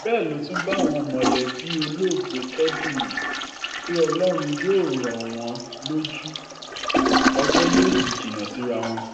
bẹ́ẹ̀ ló tún bá àwọn mọ̀lẹ́bí olóògbé kẹ́dùn um pé ọlọ́run yóò rọ̀ um wọ́n lójú ọjọ́ yóò sì jìnnà síra wọn